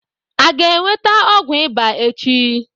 A ga-enweta ọgwụ ịba echi?